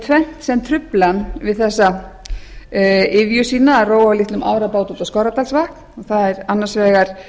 tvennt sem trufli hann við þessa iðju að róa á litlum árabát út á skorradalsvatn annars vegar